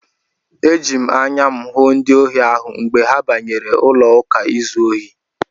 Eji m anya m hụ ndị ohi ahụ mgbe ha banyere n'ụlọụka izu ohi.